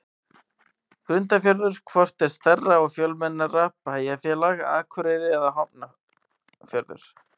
Grundarfjörður Hvort er stærra og fjölmennara bæjarfélag, Akureyri eða Hafnarfjörður?